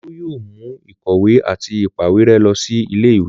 Olú yóò mú ìkọ̀wé àti ìpàwérẹ́ lọ sí ilé-ìwé?